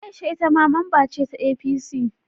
Aisha ita ma mamba ce ta APC